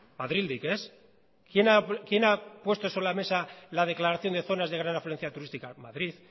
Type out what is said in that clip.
madrildik ez quién ha puesto sobre la mesa la declaración de zonas de gran afluencia turística madrid